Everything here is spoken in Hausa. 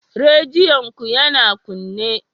Rediyon ku yana kunne?